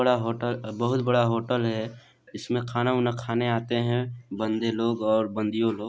बड़ा होटल बहोत बड़ा होटल है इसमे खाना-वाना खाने आते है बंदे लोग और बंदीयो लोग।